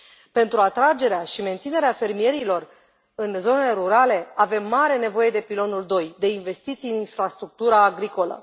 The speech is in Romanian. Pentru atragerea și menținerea fermierilor în zonele rurale, avem mare nevoie de pilonul doi, de investiții în infrastructura agricolă.